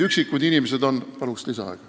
Palun lisaaega!